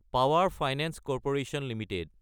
power finance corporation Ltd